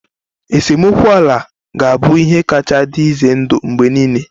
Esemokwu ala ga-abụ ihe kacha dị ize ndụ mgbe niile